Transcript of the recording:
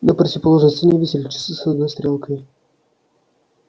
на противоположной стене висели часы с одной стрелкой